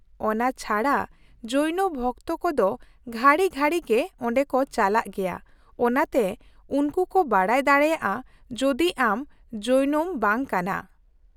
-ᱚᱱᱟ ᱪᱷᱟᱰᱟ , ᱡᱳᱭᱱᱚ ᱵᱷᱚᱠᱛᱚ ᱠᱚ ᱫᱚ ᱜᱷᱟᱹᱲᱤ ᱜᱷᱟᱹᱲᱤᱜᱮ ᱚᱸᱰᱮ ᱠᱚ ᱪᱟᱞᱟᱜ ᱜᱮᱭᱟ, ᱚᱱᱟᱛᱮ ᱩᱱᱠᱩ ᱠᱚ ᱵᱟᱰᱟᱭ ᱫᱟᱲᱮᱭᱟᱜᱼᱟ ᱡᱩᱫᱤ ᱟᱢ ᱡᱳᱭᱱᱚᱢ ᱵᱟᱝ ᱠᱟᱱᱟ ᱾